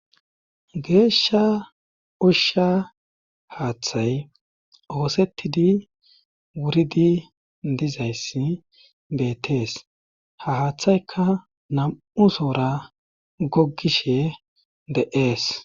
Geeshsha ushsha haaththay oosettidi wuridi dizayssi betees ha haaththayka nam7u soora goggishe de7ees